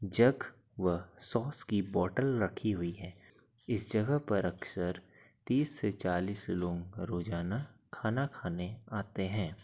जग व सॉस की बोतल रखी हुइ है। इस जगह पर अक्सर तीस से चालिस लोग रोजाना खाना खाने आते हैं ।